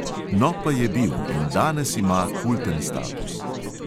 No, pa je bil in danes ima kulten status.